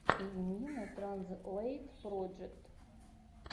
йимина транзлэйт проджект